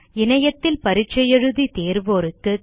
இணையத்தில் பரிட்சை எழுதி தேர்வோருக்கு சான்றிதழ்களும் தருகிறது